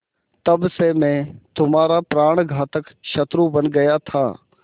तब से मैं तुम्हारा प्राणघातक शत्रु बन गया था